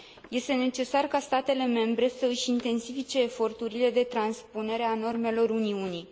Este necesar ca statele membre să își intensifice eforturile de transpunere a normelor Uniunii.